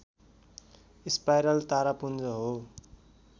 spiral तारापुञ्ज हो